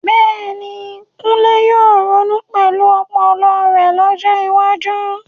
Bẹ́ẹ̀ni, Kunle yóò ronú pẹ̀lú ọpọlọ rẹ̀ lọ́jọ́ iwájú.